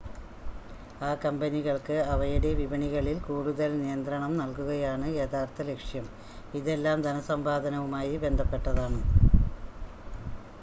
ആ കമ്പനികൾക്ക് അവയുടെ വിപണികളിൽ കൂടുതൽ നിയന്ത്രണം നൽകുകയാണ് യഥാർത്ഥ ലക്ഷ്യം ഇതെല്ലാം ധനസമ്പാദനവുമായി ബന്ധപ്പെട്ടതാണ്